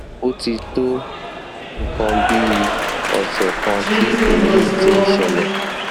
ó ó ti tó nǹkan bí ọsẹ kan tí èyí ti ń ṣẹlẹ